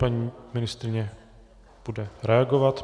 Paní ministryně bude reagovat.